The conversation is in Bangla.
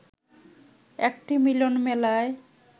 একটি মিলন মেলায়